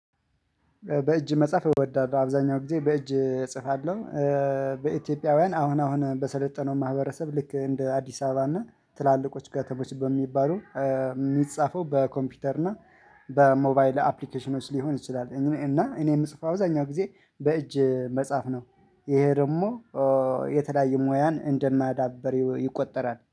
በእጅ መጽሐፍ እወዳለሁ አብዛኛው ጊዜ በእጅ እጽፋለሁ። በኢትዮጵያውያን አሁን አሁን በሰለጠነው ማህበረሰብ ልክ እንደ አዲስ አበባ እና ትላልቆች ከተሞች በሚባሉ የሚጻፈው በኮምፒውተር እና በሞባይል አፕሊኬሽኖች ሊሆን ይችላል። እና እኔ የምጽፈው አዛኛው ጊዜ በእጅ መጻፍ ነው። ይሄ ደግሞ የተለያዩ ሙያን እንደማዳበር ይቆጠራል